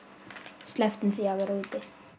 slepptum því að vera úti